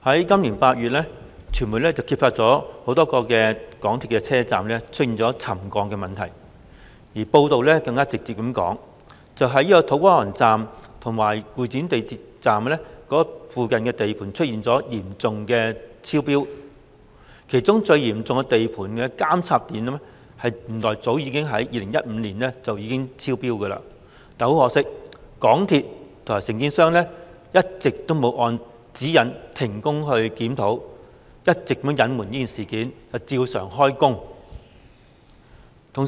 今年8月，傳媒揭發多個港鐵車站出現沉降問題，報道指土瓜灣站及會展站附近的地盤出現嚴重超標，其中超標情況最嚴重的監測點原來早在2015年已經超標，但很可惜，香港鐵路有限公司和承建商未有按指引停工檢討，一直隱瞞事件，照常進行工程。